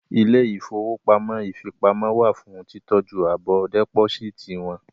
Ilé ìfowópamọ́ ìfipamọ́ wà fún títọ́jú àbọ̀ dẹ́pósíìtì wọn